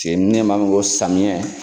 samiyɛ